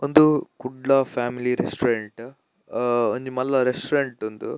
ಉಂದು Kudla family restaurant ಅಹ್ ಒಂಜಿ ಮಲ್ಲ ರೆಸ್ಟೋರೆಂಟ್ ಉಂದು.